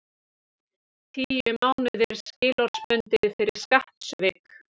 Tíu mánuðir skilorðsbundið fyrir skattsvik